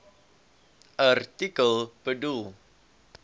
artikel bedoel